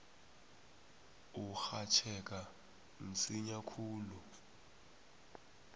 urhatjheka msinya khulu